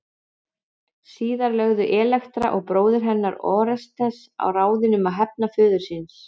Síðar lögðu Elektra og bróðir hennar Órestes á ráðin um að hefna föður síns.